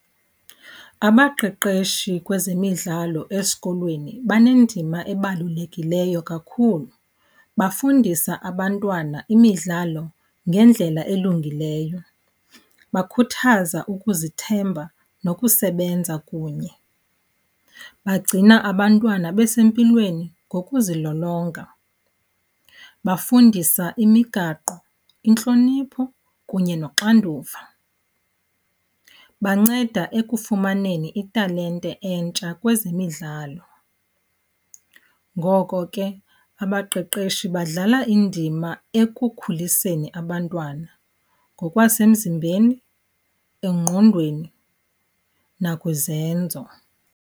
Abaqeqeshi kwezemidlalo esikolweni banendima ebalulekileyo kakhulu. Bafundisa abantwana imidlalo ngendlela elungileyo, bakhuthaza ukuzithemba nokusebenza kunye, bagcina abantwana besempilweni ngokuzilolonga, bafundisa imigaqo, intlonipho kunye noxanduva, banceda ekufumaneni italente entsha kwezemidlalo. Ngoko ke abaqeqeshi badlala indima ekukhuliseni abantwana ngokwasemzimbeni, engqondweni nakwizenzo.